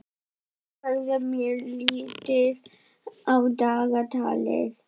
En þá verður mér litið á dagatalið.